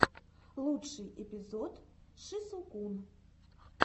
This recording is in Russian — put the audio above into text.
лучший эпизод шисукун